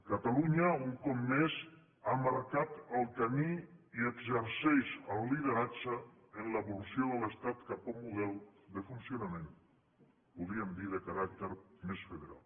catalunya un cop més ha marcat el camí i exerceix el lideratge en l’evolució de l’estat cap a un model de funcionament podríem dir de caràcter més federal